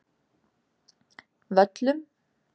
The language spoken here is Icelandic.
Völlum